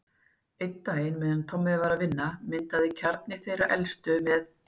Einn daginn meðan Tommi var að vinna, myndaði kjarni þeirra elstu, með